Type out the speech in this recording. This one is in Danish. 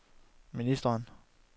ministeren